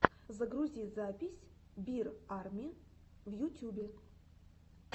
загрузи запись бир арми в ютюбе